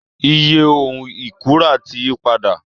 Iye ohun ìkunra ti yí padà